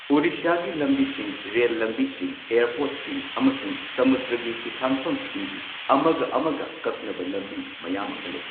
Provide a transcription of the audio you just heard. ꯑꯣꯗꯤꯁꯥꯒꯤ ꯂꯝꯕꯤꯁꯤꯡ, ꯔꯦꯜ ꯂꯝꯕꯤꯁꯤꯡ, ꯑꯦꯌꯔꯄꯣꯔꯠꯁꯤꯡ ꯑꯃꯁꯨꯡ ꯁꯃꯨꯗ꯭ꯔꯒꯤ ꯍꯤꯊꯥꯡꯐꯝꯁꯤꯡꯒꯤ ꯑꯃꯒ ꯑꯃꯒ ꯀꯛꯅꯕ ꯂꯝꯕꯤ ꯃꯌꯥꯝ ꯑꯃꯥ ꯂꯩ꯫